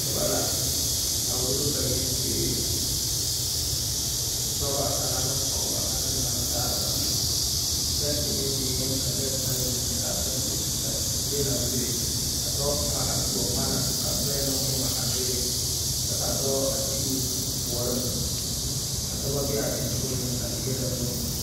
Noba la a wulo ba yiziiri dɔba a laŋ ne pɔgeba ane naasaaleba bɛnkye meŋ beŋ ka neɛkaŋa zeŋ kyɛ kaa bɛnkye zie naŋ bebe ka dɔɔ kaŋa a tuo ŋmane a vaɛ bebe kyɛ ka dɔɔ a tege o puoriŋ ka dɔba be a teŋaŋ a dierɛ o nu